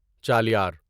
Chaliyar